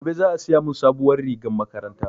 Gobe za a siya mun sabuwar rigar makaranta